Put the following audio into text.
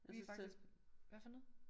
Vi faktisk hvad for noget?